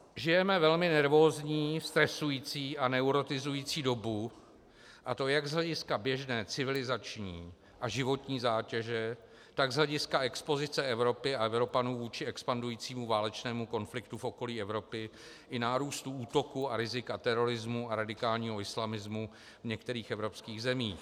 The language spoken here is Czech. Žijeme velmi nervózní, stresující a neurotizující dobu, a to jak z hlediska běžné civilizační a životní zátěže, tak z hlediska expozice Evropy a Evropanů vůči expandujícímu válečnému konfliktu v okolí Evropy i nárůstu útoků a rizika terorismu a radikálního islamismu v některých evropských zemích.